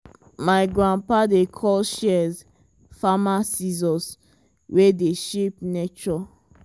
my grandpapa dey call shears farmer scissors wey dey shape nature.